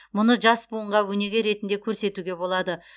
мұны жас буынға өнеге ретінде көрсетуге болады